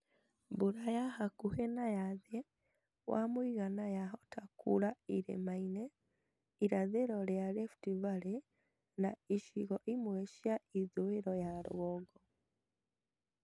Mbura ya hakuhĩ na ya thĩ wa mũigana yahota kuura irĩma-inĩ irathĩro rĩa Rift Valley na icigo imwe cia ithũĩro ya rũgongo